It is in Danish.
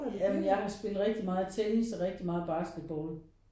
Ja men jeg har spillet rigtig meget tennis og rigtig meget basketball